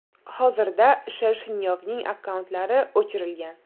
Hozirda Shershnyovning akkauntlari o‘chirilgan.